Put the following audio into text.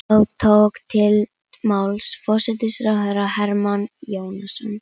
Þá tók til máls forsætisráðherra Hermann Jónasson.